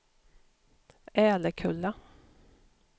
Älekulla